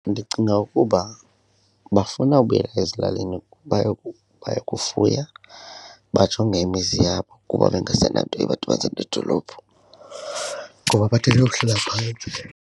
Ndicinga ukuba bafuna ubuyela ezilalini bayokufuya bajonge imizi yabo kuba bangasenanto ibadibanisa nedolophu, ngoba bathathe umhlala phantsi.